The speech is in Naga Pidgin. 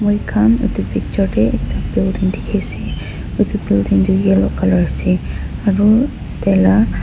mikhan edu picture tae ekta building dikhiase edu building tu yellow colour ase aro taila--